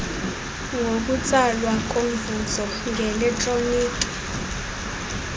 ngokutsalwa komvuzo ngeletroniki